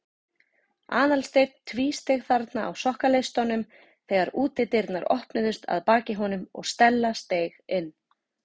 Aðalsteinn tvísteig þarna á sokkaleistunum þegar útidyrnar opnuðust að baki honum og Stella steig inn.